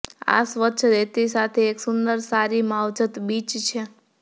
આ સ્વચ્છ રેતી સાથે એક સુંદર સારી માવજત બીચ છે